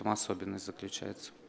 ну особенность заключается